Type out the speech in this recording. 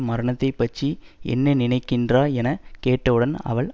மரணத்தைப் பற்றி என்ன நிறைக்கின்றாய் என கேட்டவுடன் அவள்